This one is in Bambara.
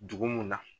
Dugu mun na